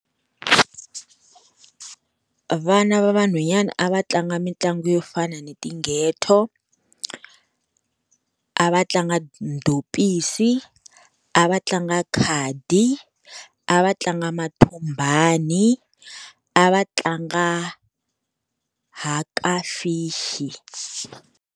Vana va vanhwanyana a va tlanga mitlangu yo fana ni tinghetho, a va tlanga ndhopisi, a va tlanga khadi, a va tlanga mahthombani, a va tlanga hakafishi.